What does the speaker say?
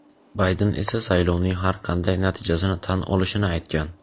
Bayden esa saylovning har qanday natijasini tan olishini aytgan.